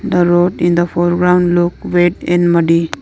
the road in the foreground look wet and muddy.